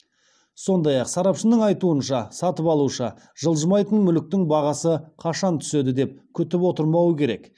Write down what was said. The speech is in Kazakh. сондай ақ сарапшының айтуынша сатып алушы жылжымайтын мүліктің бағасы қашан түседі деп күтіп отырмауы керек